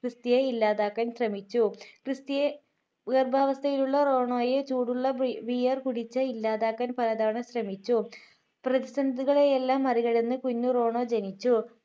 ക്രിസ്റ്റിയെ ഇല്ലാതാക്കാൻ ശ്രമിച്ചു ക്രിസ്റ്റിയെ ഗർഭാവസ്ഥയിൽ ഉള്ള റോണോയെ ചൂടുള്ള ബിയർ കുടിച്ചാൽ ഇല്ലാതാക്കാൻ പലതവണ ശ്രമിച്ചു പ്രതിസന്ധികളെയെല്ലാം മറികടന്നു കുഞ്ഞു റോണോ ജനിച്ചു